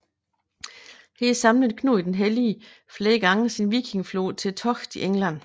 Her samlede Knud den Hellige flere gange sin vikingeflåde til togt i England